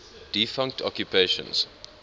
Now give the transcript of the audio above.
defunct occupations